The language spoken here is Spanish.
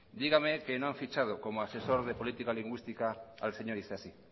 dígame que no ha fichado como asesor de política lingüística al señor isasi